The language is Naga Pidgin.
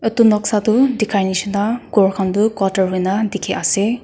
edu noksa tu dikhanishi na ghor khan tu quater huina dikhiase.